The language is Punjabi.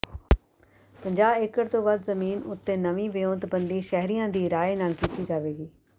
ਪੰਜਾਹ ਏਕੜ ਤੋਂ ਵੱਧ ਜ਼ਮੀਨ ਉੱਤੇ ਨਵੀਂ ਵਿਉਂਤਬੰਦੀ ਸ਼ਹਿਰੀਆਂ ਦੀ ਰਾਇ ਨਾਲ ਕੀਤੀ ਜਾਵੇਗੀ